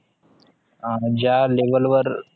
अं ज्या level वर